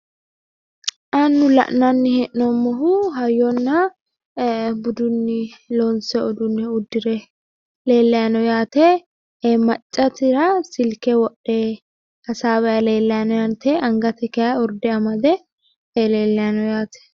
Annu la'nanni hee'noommohu hayyonna budunni loonsoyi uduunne uddire leellayi no yaate maccasira silke wodhe hasaawayi leellayi no yaate angasira kayi urde amade leellayi no yaate.